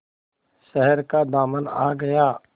शहर का दामन आ गया